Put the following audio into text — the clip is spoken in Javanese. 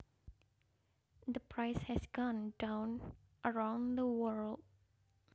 The price has gone down around the world